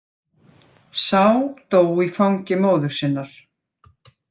Sá dó í fangi móður sinnar.